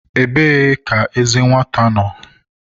Ebee ka eze ka nwata nọ?